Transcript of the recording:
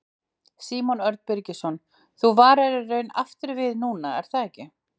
Símon Örn Birgisson: Þú varaðir í raun aftur við núna er það ekki?